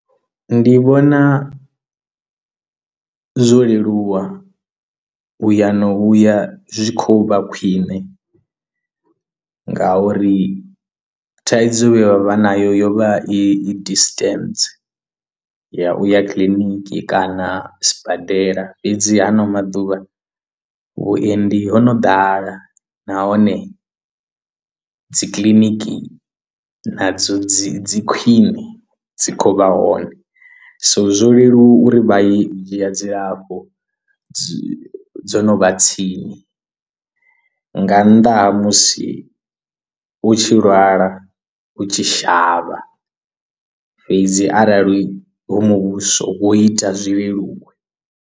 Ndi vhona zwo leluwa uya na uya zwi khou vha khwiṋe nga uri thaidzo vhe vha vha nayo yo vha i distance ya u ya kiḽiniki kana sibadela fhedzi hano maḓuvha vhuendi ho no ḓala nahone dzi kiḽiniki nadzo dzi dzi khwiṋe dzi khou vha hone so zwo leluwa uri vha i dzhia dzilafho dzo dzo no vha tsini nga nnḓa ha musi u tshi lwala u tshi shavha fhedzi arali hoyu muvhuso wo ita zwi leluwe.